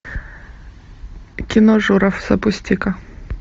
кино журов запусти ка